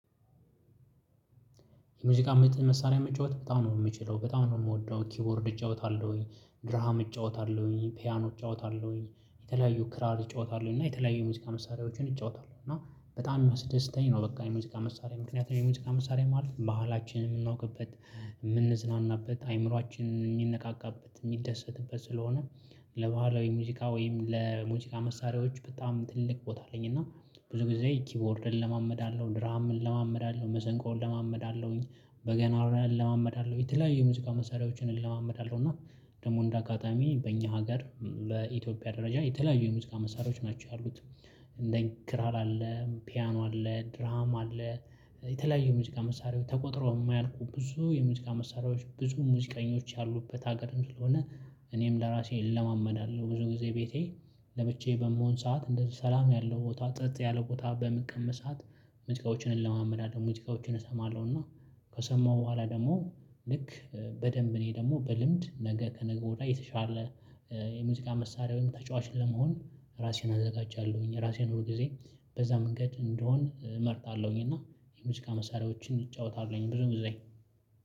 የሙዚቃ መሳሪያ መጫወት በጣም ነው የምችለው በጣም ነው የምወደው ኪቦርድ እጫወታለሁኝ ድርሃም እጫወታለሁ ፒያኖ እጫወታለሁኝ የተለያዩ ክራር እጫወታለሁ እና የተለያዩ ሙዚቃ መሳሪያዎችን እጫወታለሁ እና በጣም የሚያስደስተኝ ነው በቃ የሙዚቃ መሳሪያ ምክንያቱም የሙዚቃ መሳሪያ ማለት ባህላችንን የምናውቅበት የምንዝናናበት አይምሮአችን የሚነቃቃበት የሚደሰትበት ስለሆነ። ለባህላዊ ሙዚቃ ወይም ለሙዚቃ መሳሪያዎች በጣም ትልቅ ቦታ አለኝ። እና ብዙ ጊዜ ኪቦርድ እለማመዳለው ድራሃም እለማመዳለው መሰንቆ እለማመዳለሁኝ በገና እለማመዳለሁ የተለያዩ ሙዚቃ መሳሪያዎችን እለማመዳለሁ እና ደግሞ እንደ አጋጣሚ በእኛ ሀገር በኢትዮጵያ ደረጃ የተለያዩ የሙዚቃ መሳሪያዎች ናቸው ያሉት። እንደ ክራር አለ ፒያኖ አለ ድራም አለ የተለያዩ የሙዚቃ መሳሪያዎች ተቆጥረው የማያልቁ ብዙ የሙዚቃ መሳሪያዎች ብዙ ሙዚቀኞች ያሉበት ሀገርም ስለሆነ። እኔም ለራሴ እለማመዳለሁ ብዙ ጊዜ ቤቴ ለብቻዬ በምሆን ሰዓት እንደዚህ ሰላም ያለው ቦታ ጸጥ ያለ ቦታ በምቀመጥ ሰዓት ሙዚቃዎችን እለማመዳለው ሙዚቃዎችን እሰማለሁ እና። ከሰማሁ በኋላ ደግሞ ልክ በደንብ እኔ ደግሞ በልምድ ነገ ከነገ ወዳይ የተሻለ የሙዚቃ መሳሪያ ወይም ተጫዋች ለመሆን ራሴን አዘጋጃለሁኝ። ራሴን ሁል ጊዜ በዛ መንገድ እንድሆን እመርጣለሁኝ እና የሙዚቃ መሳሪያዎችን እጫወታለሁኝ ብዙ ጊዜ።